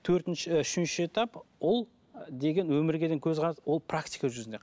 төртінші і үшінші этап ол деген өмірге деген көзқарас ол практика жүзінде